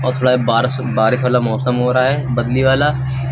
थोड़ा बारश बारिश वाला मौसम हो रहा है बदली वाला।